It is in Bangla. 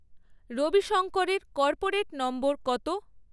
রবিশঙ্করের কর্পোরেট নম্বর কত?